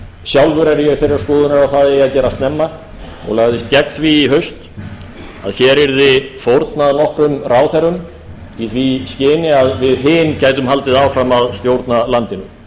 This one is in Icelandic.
sjálfur er ég þeirrar skoðunar að það eigi að gera snemma og lagðist gegn því í haust að hér yrði fórnað nokkrum ráðherrum í því skyni að við hin gætum haldið áfram að stjórna landinu